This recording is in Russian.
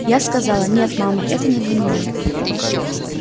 я сказала нет мама это не для меня